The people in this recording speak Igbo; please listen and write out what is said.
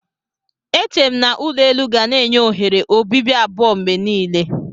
Eche m na ulo elu ga na-enye oghere obibi abụọ mgbe niile.